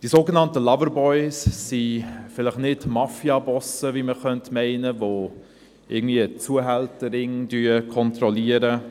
Die sogenannten Loverboys sind vielleicht nicht Mafiabosse, wie man meinen könnte, welche Zuhälterringe kontrollieren.